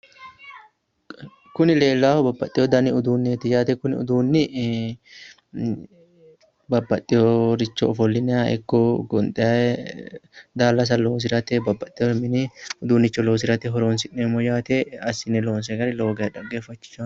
kuni leellaahu babaxino danni uduunneeti leellaahu kuni uduunni babbaxeeworicho ofollinanniha ikko gonxanniricho ee daallasa loosirate babbaxere mini uduunnicho loosirate horonsineemmo yaate assine loonsoonni gari xaggeeffachishaae.